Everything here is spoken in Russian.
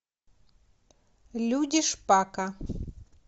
люди шпака